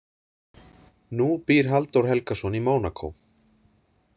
Nú býr Halldór Helgason í Mónakó.